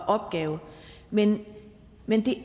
opgave men men det